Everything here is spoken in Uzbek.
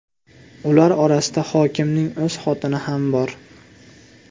Ular orasida hokimning o‘z xotini ham bor.